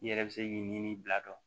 I yɛrɛ bɛ se k'i ɲini bila